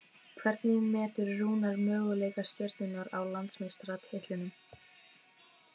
Hvernig metur Rúnar möguleika Stjörnunnar á Íslandsmeistaratitlinum?